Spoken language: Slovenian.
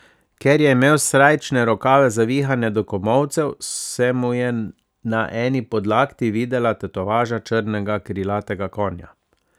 Ker je imel srajčne rokave zavihane do komolcev, se mu je na eni podlakti videla tetovaža črnega krilatega konja.